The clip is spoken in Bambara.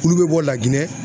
Kulu bɛ bɔ Laginɛ